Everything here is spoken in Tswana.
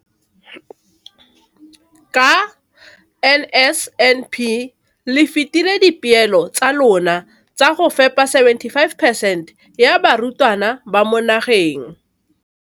Ka NSNP le fetile dipeelo tsa lona tsa go fepa masome a supa le botlhano a diperesente ya barutwana ba mo nageng.